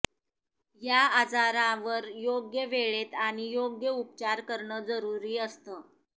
या आजारावर योग्य वेळेत आणि योग्य उपचार करणं जरूरी असतं